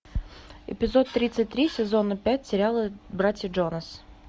эпизод тридцать три сезона пять сериала братья джонас